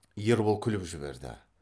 ербол күліп жіберді